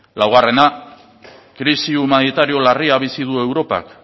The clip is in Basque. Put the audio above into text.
laugarrena krisi humanitario larria bizi du europak